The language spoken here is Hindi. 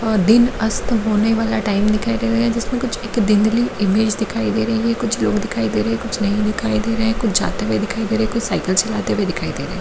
और दिन अस्त होने वाला टाइम दिखाई दे रहा है जिसमें कुछ एक धुंधली इमेज दिखाई दे रही है कुछ लोग दिखाई दे रहे कुछ नहीं दिखाई दे रहे हैं कुछ जाते हुए दिखाई दे रहे हैं कुछ साइकिल चलाते हुए दिखाई दे रहे है।